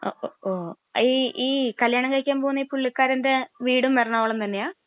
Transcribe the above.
ഓ, ഓ..ഈ..ഈ കല്യാണം കഴിക്കാൻ പോകുന്ന പുള്ളിക്കാരന്റെ വീടും എറണാകുളം തന്നെയാ?